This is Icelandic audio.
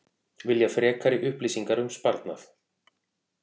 Vilja frekari upplýsingar um sparnað